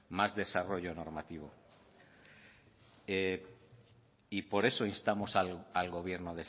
más desarrollo normativo por eso instamos al gobierno